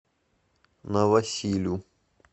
новосилю